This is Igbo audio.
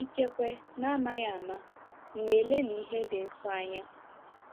Ikekwe n'amaghị ama, m̀ na-elelị ihe dị nsọ anya?